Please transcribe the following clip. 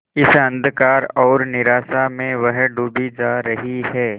इस अंधकार और निराशा में वह डूबी जा रही है